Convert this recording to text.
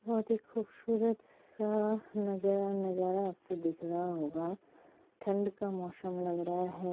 बहुत ही खूबसूरत सा नजर आपको दिख रहा होगा ठंड का मौसम लग रहा है ।